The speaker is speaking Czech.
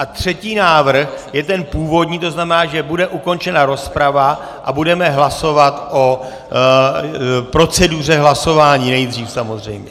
A třetí návrh je ten původní, to znamená, že bude ukončena rozprava a budeme hlasovat o proceduře hlasování nejdřív samozřejmě.